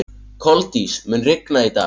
Koldís, mun rigna í dag?